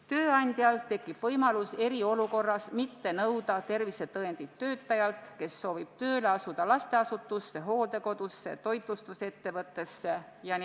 Tööandjal tekib eriolukorras võimalus mitte nõuda tervisetõendit töötajalt, kes soovib tööle asuda lasteasutuses, hooldekodus, toitlustusettevõttes.